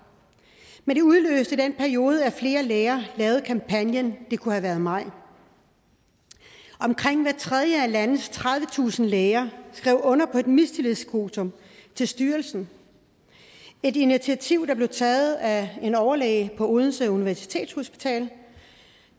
men det udløste i den periode at flere læger lavede kampagnen det ku ha været mig omkring hver tredje er landets tredivetusind læger under på et mistillidsvotum til styrelsen et initiativ der blev taget af en overlæge på odense universitetshospital